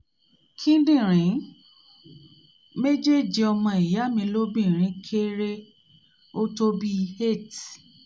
kíndìnrín méjèèjì ọmọ ìyá mi lóbìnrin kéré ó tó bí i 8''